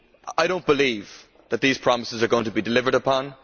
I do not believe that these promises are going to be delivered on.